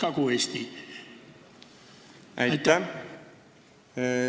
Aitäh!